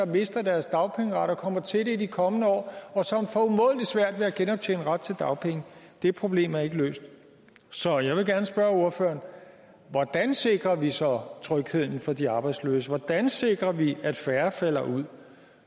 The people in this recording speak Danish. mistet deres dagpengeret kommer til det i de kommende år og som får umådelig svært ved at genoptjene retten til dagpenge det problem er ikke løst så jeg vil gerne spørge ordføreren hvordan sikrer vi så trygheden for de arbejdsløse hvordan sikrer vi at færre falder ud